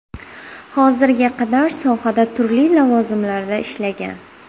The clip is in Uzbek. Hozirga qadar sohada turli lavozimlarida ishlagan.